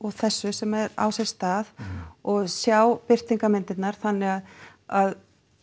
þessu sem á sér stað og sjá birtingarmyndirnar þannig að